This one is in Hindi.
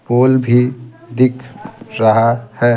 पोल भी दिख रहा है।